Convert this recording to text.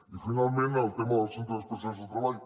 i finalment el tema dels centres especials de treball